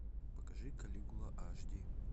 покажи калигула аш ди